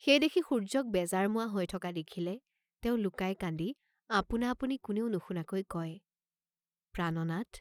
সেই দেখি সূৰ্য্যক বেজাৰ মুৱা হৈ থকা দেখিলে তেওঁ লুকাই কান্দি আপোনা অপুনি কোনেও নুশুনাকৈ কয় "প্ৰাণনাথ!